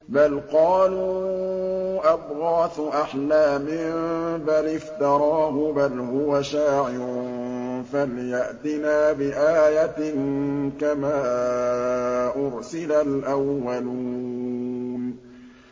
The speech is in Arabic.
بَلْ قَالُوا أَضْغَاثُ أَحْلَامٍ بَلِ افْتَرَاهُ بَلْ هُوَ شَاعِرٌ فَلْيَأْتِنَا بِآيَةٍ كَمَا أُرْسِلَ الْأَوَّلُونَ